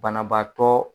Banabaatɔ